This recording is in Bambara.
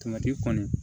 Tomati kɔni